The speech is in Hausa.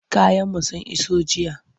Kayanmu sun iso jiya.